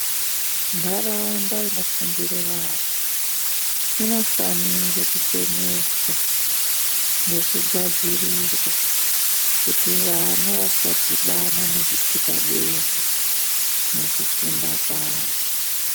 Nharaunda inofundire vana inofanire kucheneswa nekygadzirirwa kuti vana vasadhibana nezvithikabezo mukufunda kwavo.